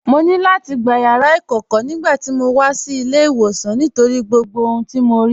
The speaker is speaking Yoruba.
Mọ̀ ní láti gbà yàrà ikọ̀kọ̀ nigbàtí mó wà sí ilẹ̀-ìwọsan nítorí gbogbo ohun tó mọ̀ rí.